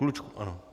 Klučku, ano.